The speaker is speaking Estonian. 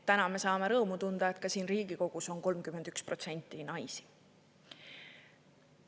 Täna me saame rõõmu tunda, et ka siin Riigikogus on 31% naisi.